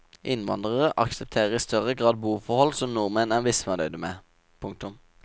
Innvandrere aksepterer i større grad boforhold som nordmenn er misfornøyde med. punktum